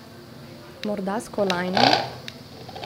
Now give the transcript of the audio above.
Morda s kolajno?